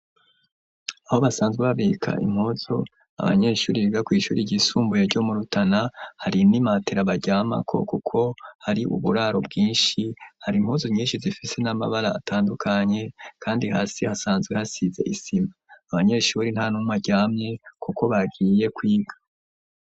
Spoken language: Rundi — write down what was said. Aho basanzwe babika impuzu abanyeshure biga kw'ishuri ryisumbuye ryo mu Rutana hari n'imatera baryamako kuko hari uburaro bwinshi hari impuzu nyinshi zifise n'amabara atandukanye kandi hasi hasanzwe hasize isima abanyeshure nta numwe aryamye kuko bagiye kwiga.